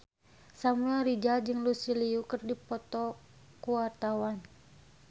Samuel Rizal jeung Lucy Liu keur dipoto ku wartawan